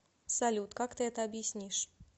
салют как ты это объяснишь